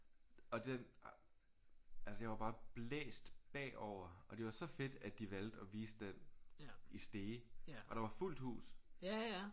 Og den altså jeg var bare blæst bagover og det var så fedt at de valgte at vise den i Stege og der var fuldt hus